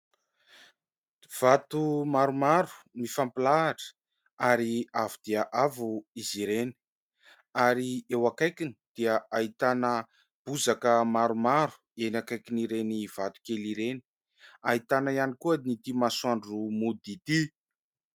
Vato maromaro mifampilahatra ary avo dia avo izy ireny ary eo akaikiny dia ahitana bozaka maromaro, eny akaikin' ireny vato kely ireny ahitana ihany koa an' ity masoandro mody ity.